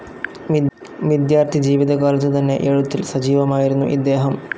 വിദ്യാർത്ഥിജീവിതകാലത്തു തന്നെ എഴുത്തിൽ സജീവമായിരുന്നു ഇദ്ദേഹം.